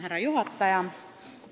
Härra juhataja!